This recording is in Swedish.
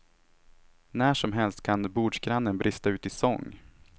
När som helst kan bordsgrannen brista ut i sång.